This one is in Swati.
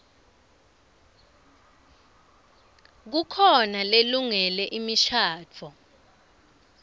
kukhona lelungele imishadvo